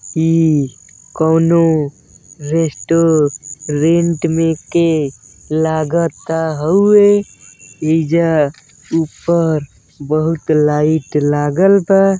ई कोनों कउनो रेस्टोरेंट में के लगता हउवे। अहिजा उप्पर बहुत लाईट लागल बा।